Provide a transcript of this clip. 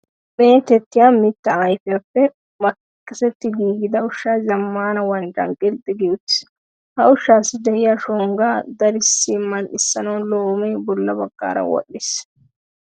Meetettiya mittaa ayfiyappe makkisetti giigida ushshay zammaana wanccan qilxxi gi uttiis. Ha ushshassi de'iya shonggaa darissi mal"issanawu loomee bolla baggaara wodhdhiis.